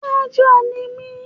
Májọ̀ ni mí